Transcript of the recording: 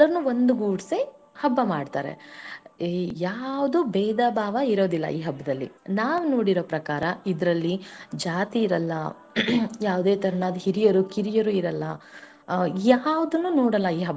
ಹಬ್ಬ ಮಾಡ್ತಾರೆ ಯಾವುದು ಬೇದಬಾವ ಇರೋದಿಲ್ಲಾ ಈ ಹಬ್ಬದಲ್ಲಿ ನಾವ ನೋಡಿರೋ ಪ್ರಕಾರ ಇದರಲ್ಲಿ ಜಾತಿ ಇರಲ್ಲ ಯಾವುದೇ ತರಹದ ಹಿರಿಯರು-ಕಿರಿಯರು ಇರಲ್ಲ ಯಾವುದುನ್ನು ನೋಡಲ್ಲಾ ಈ ಹಬ್ಬ.